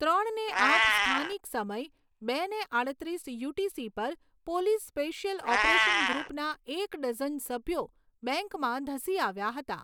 ત્રણને આઠ સ્થાનિક સમય બે ને આડત્રીસ યુટીસી પર પોલીસ સ્પેશિયલ ઓપરેશન ગ્રુપના એક ડઝન સભ્યો બેંકમાં ધસી આવ્યા હતા.